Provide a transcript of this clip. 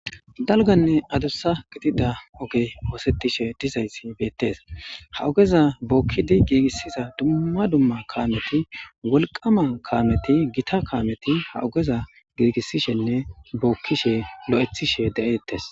Dalganne adussa gidida oge oosetishe dizayssi beettes ha ogeza bookkidi giigissiza dumma dumma kaameti wolqama kaameti gita kaameti ha ogeza giigissishenne bookkishe lo'ethishe de'eettes.